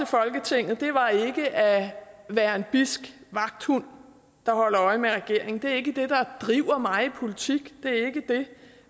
folketinget var ikke at være en bidsk vagthund der holder øje med regeringen det er ikke det der driver mig i politik det er ikke det